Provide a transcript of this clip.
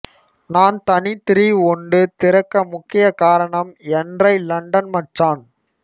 நான் தனி திரி ஒண்டு திறக்க முக்கிய காரணம் என்ரை லண்டன் மச்சான்